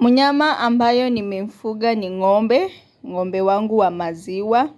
Mnyama ambayo nimemfuga ni ngombe, ngombe wangu wa maziwa,